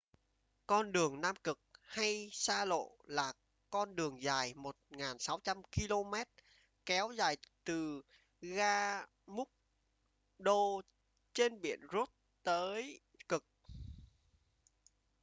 con đường nam cực hay xa lộ là con đường dài 1600 km kéo dài từ ga mcmurdo trên biển ross tới cực